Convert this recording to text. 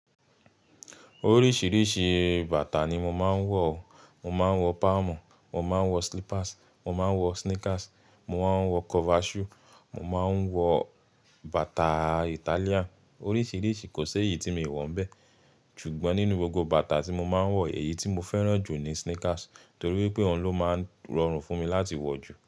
Oríṣiríṣi bàtà ni mo máa ń wọ. Mo máa ń wo palm, mo máa ń wo slippers, mo máa ń wo sneakers, mo máa ń wo cover shoe, mo máa ń wo bàtà Italian. Oríṣiríṣi, kò sé yí tí mi wo bẹ. Ṣùgbọ́n nínú gbogbo bàtà tí mo máa ń wo, èyí tí mo fẹ́ràn jù ni sneakers, torí pé òun ló máa ń rọrùn fún mi láti wo jù.